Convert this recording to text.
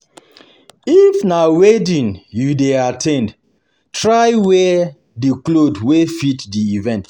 If na wedding you dey at ten d, try wear di cloth wey fit di event